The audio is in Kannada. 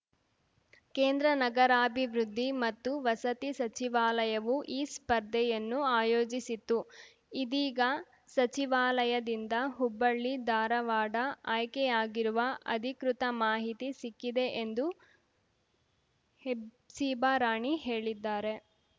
ಕೇಂದ್ರ ನಗರಾಭಿವೃದ್ಧಿ ಮತ್ತು ವಸತಿ ಸಚಿವಾಲಯವು ಈ ಸ್ಪರ್ಧೆಯನ್ನು ಆಯೋಜಿಸಿತ್ತು ಇದೀಗ ಸಚಿವಾಲಯದಿಂದ ಹುಬ್ಬಳ್ಳಿಧಾರವಾಡ ಆಯ್ಕೆ ಆಗಿರುವ ಅಧಿಕೃತ ಮಾಹಿತಿ ಸಿಕ್ಕಿದೆ ಎಂದು ಹೆಬ್ಸಿಬಾ ರಾಣಿ ಹೇಳಿದ್ದಾರೆ